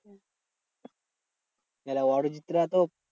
তাহলে অরিজিৎ রা তো